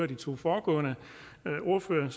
de to foregående ordførere